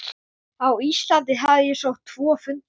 Á Íslandi hafði ég sótt tvo fundi.